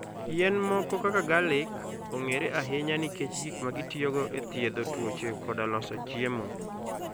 Yien moko kaka garlic, ong'ere ahinya nikech gik ma gitiyogo e thiedho tuoche koda loso chiemo.